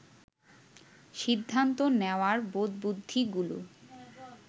সিদ্ধান্ত নেওয়ার বোধবুদ্ধিগুলো